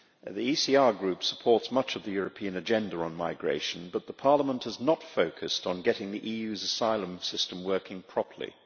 The ECR Group supports much of the European agenda on migration, but Parliament has not focused on getting the EU's asylum system working properly.